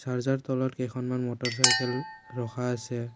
দৰ্জাৰ তলত কেইখনমান motorcycle ৰখা আছে।